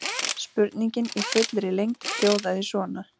Spurningin í fullri lengd hljóðaði svona: